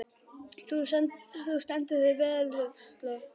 Þú stendur þig vel, Huxley!